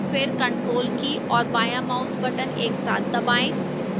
फिर ctrl की और बायां mouse button एक साथ दबाएं